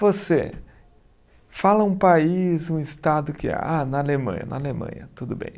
Você fala um país, um estado que é. Ah, na Alemanha, na Alemanha, tudo bem.